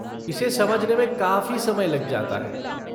इसे समझने में काफ़ी समय लग जाता है।